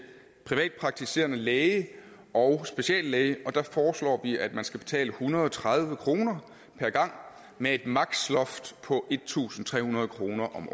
privatpraktiserende læge og speciallæge der foreslår vi at man skal betale en hundrede og tredive kroner per gang med et maksimumsloft på en tusind tre hundrede kroner om